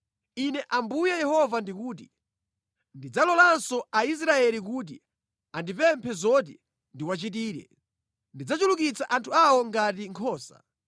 “Ine Ambuye Yehova ndikuti: Ndidzalolanso Aisraeli kuti andipemphe zoti ndiwachitire: Ndidzachulukitsa anthu awo ngati nkhosa.